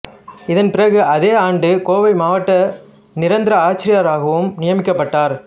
இதன் பிறகு அதே ஆண்டு கோவை மாவட்ட நிரந்தர ஆட்சியராகவும் நியமிக்கப்பட்டார்